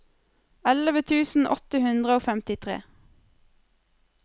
elleve tusen åtte hundre og femtitre